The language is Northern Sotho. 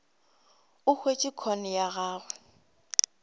o hwetše com ya gago